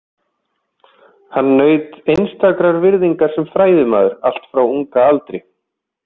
Hann naut einstakrar virðingar sem fræðimaður allt frá ungum aldri.